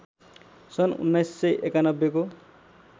सन् १९९१ को